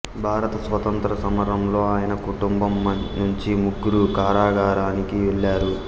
భారత స్వతంత్ర సమరంలో ఆయన కుటుంబం నుంచి ముగ్గురు కారాగారానికి వెళ్ళారు